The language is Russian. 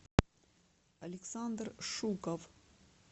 александр шуков